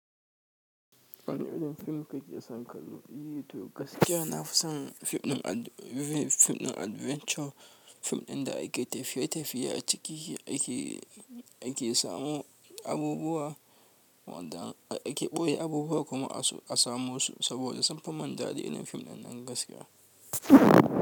Wane irin fim kake son kallo? Yi to gaskiya. Na fi son fim ɗin adventure. Film ɗin da ake tafiye tafiye a ciki ake samo abubuwa wanda ake ɓoye abubuwa kuma a samo su saboda sunfi min daɗi film ɗinnan gaskiya.